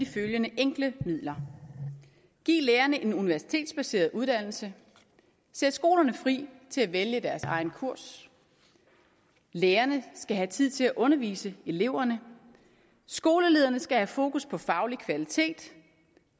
følgende enkle midler giv lærerne en universitetsbaseret uddannelse sæt skolerne fri til at vælge deres egen kurs lærerne skal have tid til at undervise eleverne skolelederne skal have fokus på faglig kvalitet